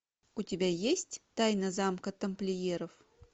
у тебя есть тайна замка тамплиеров